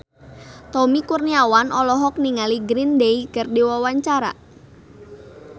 Tommy Kurniawan olohok ningali Green Day keur diwawancara